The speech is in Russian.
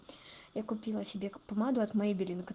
я купила себе помаду от мэй белинг